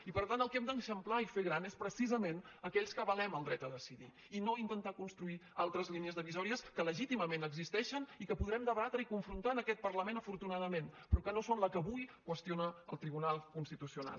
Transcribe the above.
i per tant el que hem d’eixamplar i fer gran és precisament aquells que avalem el dret a decidir i no intentar construir altres línies divisòries que legítimament existeixen i que podrem debatre i confrontar en aquest parlament afortunadament però que no són la que avui qüestiona el tribunal constitucional